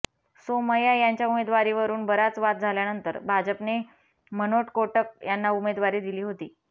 सोमय्या यांच्या उमेदवारीवरून बराच वाद झाल्यानंतर भाजपने मनोट कोटक यांना उमेदवारी दिली होती